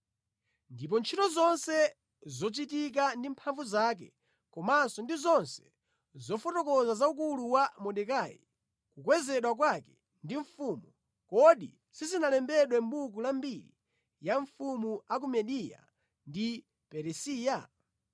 Ndipo ntchito zonse zochitika ndi mphamvu zake komanso ndi zonse zofotokoza za ukulu wa Mordekai, kukwezedwa kwake ndi mfumu, kodi sizinalembedwe mʼbuku la mbiri ya mafumu a ku Mediya ndi Peresiya?